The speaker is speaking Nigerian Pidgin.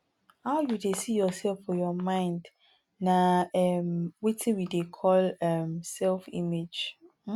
how you dey see yourself for your mind nah um wetin we dey call um self image um